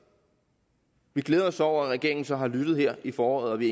vi glæder os over at regeringen så har lyttet her i foråret og vi